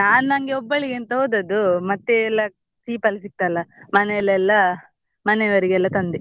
ನಾನ್ ನನ್ಗೆ ಒಬ್ಬಳಿಗೆ ಅಂತ ಹೋದದ್ದು ಮತ್ತೆ ಎಲ್ಲ cheap ಅಲ್ ಸಿಗ್ತ್ ಅಲ್ಲ ಮನೇಲೆಲ್ಲ ಮನೆಯವರ್ಗೆಲ್ಲ ತಂದೆ.